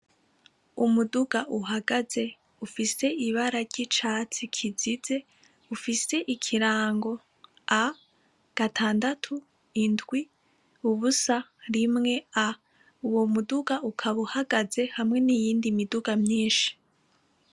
Umuduga uhagaze ufise ibara ry’icatsi kizize ufise ikirango A gatandatu indwi ubusa rimwe A uwo muduga ukaba uhagaze hamwe niyindi miduga myinshi.